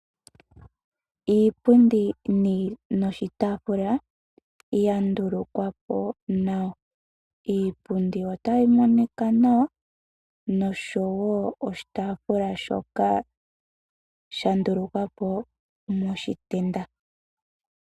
Iipundi noshitaafula ya ndulukwapo nawa. Iipundi Ota yi monika nawa noshowo oshitaafula shoka sha ndulukwapo moshitenda.